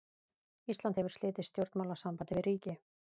Ísland hefur slitið stjórnmálasambandi við ríki.